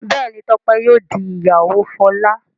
Béèni Tope yíò dì ìyàwó Fola.